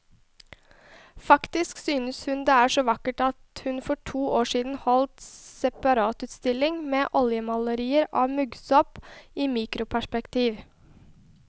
Faktisk synes hun det er så vakkert at hun for to år siden holdt separatutstilling med oljemalerier av muggsopp i mikroperspektiv.